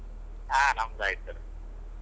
ಹಾ ನಮ್ದು ಆಯ್ತು.